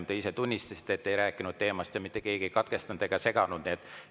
Te ise tunnistasite, et te ei rääkinud teemast, aga mitte keegi ei katkestanud ega seganud teid.